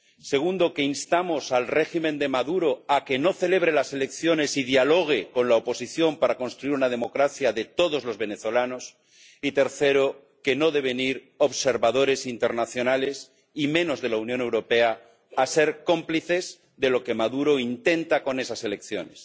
segundo, que instamos al régimen de Maduro a que no celebre las elecciones y dialogue con la oposición para construir una democracia de todos los venezolanos y tercero, que no deben ir observadores internacionales, y menos de la Unión Europea, a ser cómplices de lo que Maduro intenta con esas elecciones.